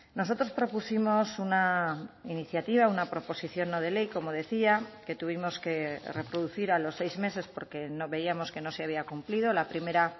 nosotros propusimos una iniciativa una proposición no de ley como decía que tuvimos que reproducir a los seis meses porque no veíamos que no se había cumplido la primera